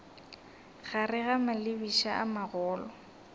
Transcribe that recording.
gare ga malebiša a magolo